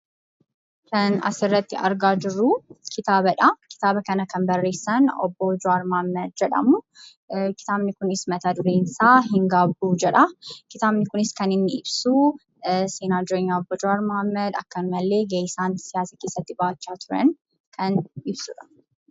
Kan asirratti argaa jirru kitaaba dha. Kitaaba kana kan barreessan obbo Jawaar Muhammad jedhamu. Kitaabni kunis mata-dureen isaa "Hin Gaabbu" jedha. Kitaabni kunis kan inni ibsu seenaa jireenya obbo Jawaar Muhammad, ammallee gahee isaan siyaasa keessatti ba'achaa jiran kan ibsuudha.